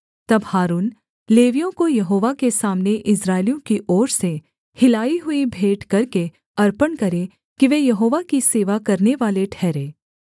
तब हारून लेवियों को यहोवा के सामने इस्राएलियों की ओर से हिलाई हुई भेंट करके अर्पण करे कि वे यहोवा की सेवा करनेवाले ठहरें